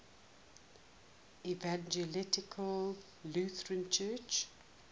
evangelical lutheran church